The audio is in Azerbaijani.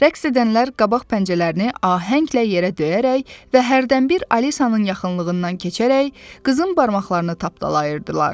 Rəqs edənlər qabaq pəncərəni ahənglə yerə döyərək və hərdənbir Alisanın yaxınlığından keçərək qızın barmaqlarını tapdalayırdılar.